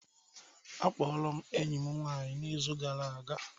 Akpọrọ m enyi m nwanyị n'izu gara aga